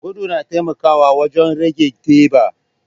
Gudu na taimakawa wajen rage teɓa.